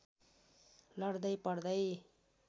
लड्दै पड्दै